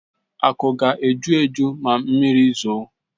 Aku ga-eju eju ma mmiri zoo.